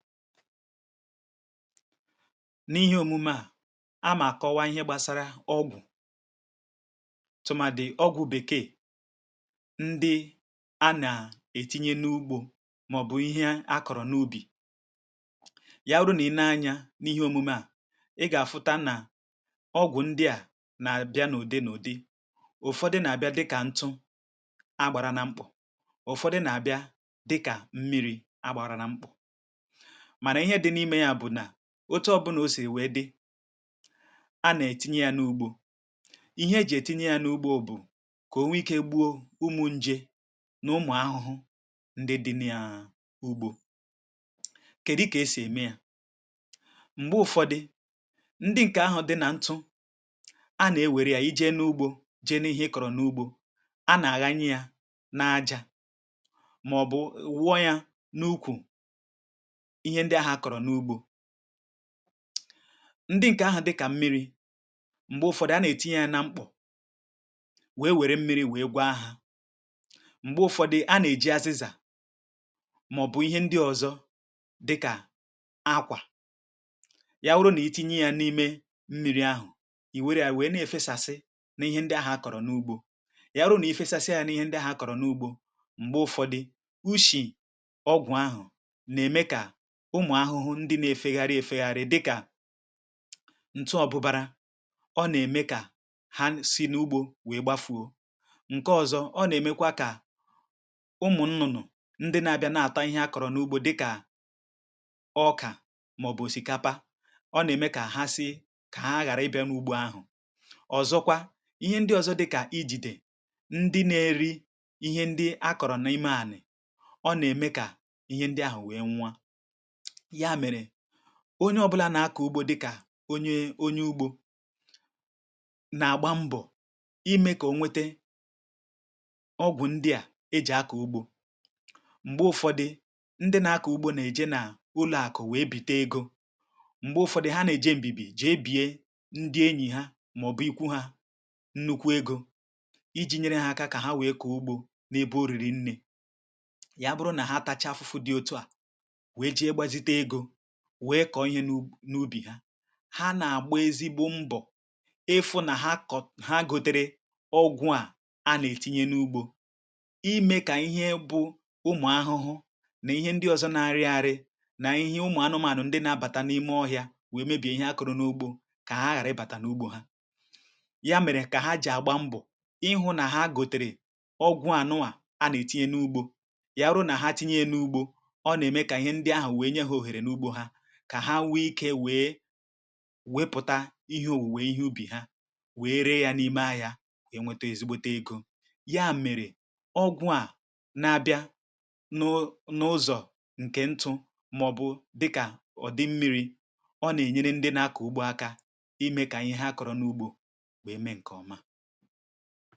N’ihe omume à, a mà àkọwa ihe gbasara ọgwụ̀ tụmàdì ọgwụ̀ bèkee, ndị a nà ètinye n’ugbȯ màọ̀bụ̀ ihe akọ̀rọ̀ n’ubì. ya wuru nà ị nee-anya n’ihe omume à, ị gà-àfụta nà ọgwụ̀ ndị à nà-àbịa n’ụdị n’ụdị, ụfọdụ nà-àbịa dịkà ntụ agbàra na mkpụ̀, ụfọdụ nà-àbịa dịkà mmiri̇ agbàra na mkpụ̀, mana ihe dị n’ime ya bụ na ótu ọbụnà o sì wèe dị, a nà-ètinye yȧ n’ugbȯ, ihe e jị̀ etinye yȧ n’ugbȯ bụ̀ kà o nwee ike gbuo ụmụ̀ njė n’ụmụ̀ ahụhụ ndị dị naa ugbȯ. Kèdị kà e sì ème yȧ, m̀gbe ụ̀fọdị ndị ǹkè ahụ̀ dị nà ntụ, a nà-ewère yȧ i jee n’ugbȯ jee n’ihe ị kọ̀rọ̀ n’ugbȯ, a nà-àghanyị yȧ n' aja màọ̀bụ̀ wụọ yȧ n’ukwù ihe ndị ahụ akọrọ n'ụgbọ, ndị ǹkè ahụ̀ dịkà mmiri̇, m̀gbè ụ̀fọdụ a nà-ètinye yȧ nà mkpọ̀ wee wère mmiri̇ wèe gwàa hȧ, m̀gbè ụ̀fọdị a nà-èji azịzà màọ̀bụ̀ ihe ndị ọ̀zọ dịkà ákwà, ya wụrụ nà iti̇nye yȧ n’ime mmiri ahụ̀ ìwèrè à wèe nà-èfesàsị n’ihe ndị ahụ̀ akọ̀rọ̀ n’ugbȯ, ya wụrụ nà-èfesàsịa yȧ n’ihe ndị ahụ̀ akọ̀rọ̀ n’ugbȯ, m̀gbè ụ̀fọdị uchì ọgwụ̀ ahụ̀ na-eme ka ụmụ̀ ahụhụ ndị na-efegharị efegharị dịkà ntụ ọbụbara ọ na-eme kà ha si n’ugbȯ wee gbafuo, ǹke ọzọ ọ na-emekwa kà ụmụ̀ nnụnụ ndị na-abịa na-ata ihe a kọ̀rọ̀ n’ugbȯ dịkà ọkà maọ̀bụ̀ òsìkapa ọ na-eme kà ha si kà ha aghàra ịbịa n’ugbȯ ahụ̀. ọ̀zọkwa, ihe ndị ọzọ dịkà ijidè, ndị na-eri ihe ndị a kọ̀rọ̀ n’ime àlà, ọ na-eme kà ihe ndị ahụ̀ wee nwua, ya mere onye ọbụla na-akọ ugbo dị kà onye onye ugbo, na-agba mbọ̀ ime ka onwete ọgwụ ndị à e ji akọ ụgbọ. m̀gbe ụfọdị̇ ndị na-akọ ugbo na-eje na ụlọ aku wee bite ego, m̀gbe ụfọdị̇ ha na-eje mbibi jee bie ndị enyi ha maọbụ ịkwụ ha nnukwu egȯ iji nyere ha aka ka ha wee kọọ ugbo n’ebe o riri nne, ya bụrụ na ha tacha afụfụ dị otu à wee kọọ ihe n’ubì ha, ha nà-àgba ezigbo mbọ̀ ịfụ̇ nà ha kọọ ha gọ̀tèrè ọgwụ̇ a a nà-ètinye n’ugbȯ imė kà ihe bụ̇ ụmụ̀ ahụhụ nà ihe ndị ọ̀zọ na-arị ariị̇ nà ihe ụmụ̀ anụmȧnụ̀ ndị nà-àbàtà n’ime ọhịȧ wèe mebìe ihe akọrọ n’ugbȯ kà ha ghàra ịbàtà n’ugbȯ ha, ya mèrè kà ha jì àgba mbọ̀ ịhụ̇ nà ha gòtèrè ọgwụ̀ anụnwa anà-ètinye n’ugbȯ, yà wurụ nà ha tinye n’ugbȯ, ọ nà-ème kà ihe ndị ahụ̀ wee nye ha ohere n'ụgbọ ha, kà ha nwee ikė weė wepụ̀ta ihe òwùwè ihe ubì ha weė ree ya n’ime ahịȧ wee nwete ezigbote egȯ. Ya mèrè ọgwụ̇ a na-abịa nụ̇ n' ụzọ̀ ǹkè ntụ̇ màọ̀bụ̀ dịkà ọ̀dị mmịrị̇ ọ nà-ènyere ndị na-akọ̀ ugbo akȧ imė kà ihe ha akọ̀rọ̀ n’ugbȯ wee mee ǹkè ọma.